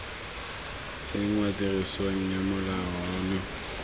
tsenngwa tirisong ga molao ono